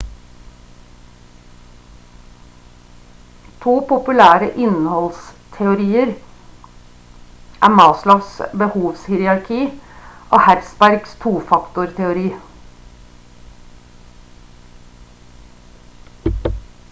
to populære innholdsteorier er maslows behovshierarki og hertzbergs tofaktorteori